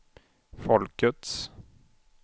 folkets